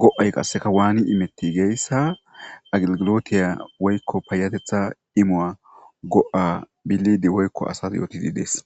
go7ay qassekka waani immetti giyayssa agilglotiya woykko payateththa immuwa go7a bilede woykko asas yootide dees.